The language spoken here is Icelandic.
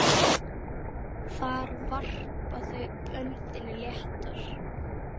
Þar varpa þau öndinni léttar.